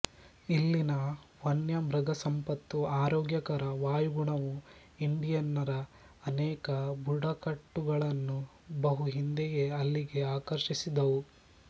ಇಲ್ಲಿನ ವನ್ಯಮೃಗಸಂಪತ್ತೂ ಆರೋಗ್ಯಕರ ವಾಯುಗುಣವೂ ಇಂಡಿಯನ್ನರ ಅನೇಕ ಬುಡಕಟ್ಟುಗಳನ್ನು ಬಹು ಹಿಂದೆಯೇ ಇಲ್ಲಿಗೆ ಆಕರ್ಷಿಸಿದವು